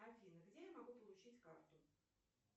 афина где я могу получить карту